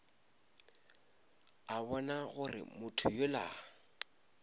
a bona gore motho yola